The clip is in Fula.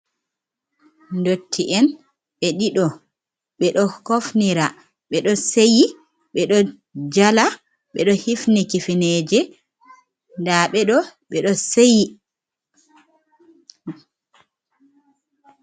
Ndotti en ɓe ɗiɗo ɓe do kofnindira ɓeɗo seyi, ɓe ɗo jala. Ɓe ɗo hifni kifineje ndaɓe ɗo ɓeɗo seyi.